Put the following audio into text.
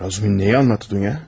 Razum nəyi anlattı dünya?